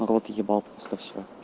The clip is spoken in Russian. рот ебал просто всё